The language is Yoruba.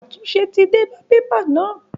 Àtúnṣe ti dé bá pépà náà?